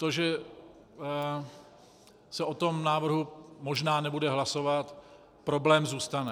To že se o tom návrhu možná nebude hlasovat - problém zůstane.